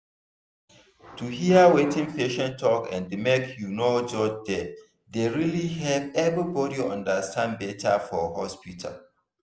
to hear wetin patient talk and make you no judge dem dey really help everybody understand better for hospital.